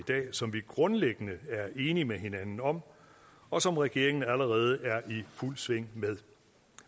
som vi grundlæggende er enige med hinanden om og som regeringen allerede er i fuld sving med